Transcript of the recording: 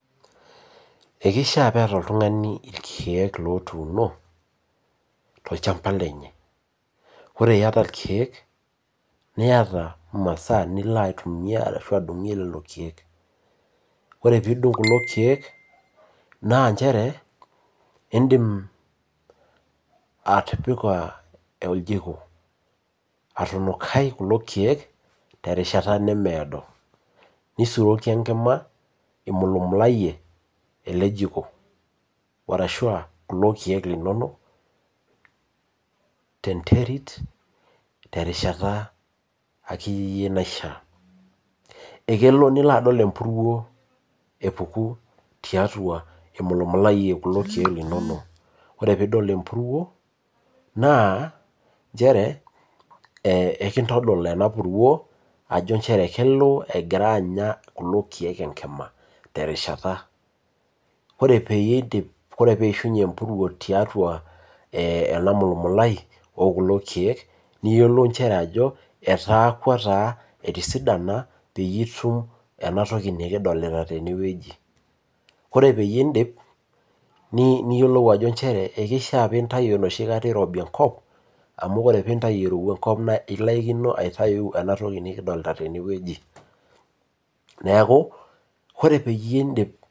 ekishaa pee eta oltungani ilkeek otuuno, tolchamba lenye, ore iyata ilkeek ashu adungie lelo keek, ore pee idung kulo keek naa ichere idim atipika, ojiko atunukai kulo keek terishata nemeedo nisuroki enkima imulumulayie ele jiko, ninukaa kulo keek linono tenterit terishata naishaa, ekelo nilo adol emburuo epuku tiatua imulumulayie ilkeek linonok, nchere ekitodol ena kelo egira, terishata ore oeyie idip ore pee ishunye emburuo tiatua telolo keek, niyiolou inchere ajo etisidana peyie itum enatoki naji ore peyie idip niyiolou ajo kishaa pee intayu irobi enkop amu ore pee intayu irowua enkop naa ekindanyamal.